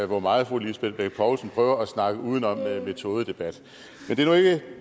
hvor meget fru lisbeth bech poulsen prøver at snakke udenom med en metodedebat men det